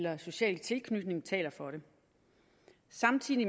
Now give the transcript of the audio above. og social tilknytning taler for det samtidig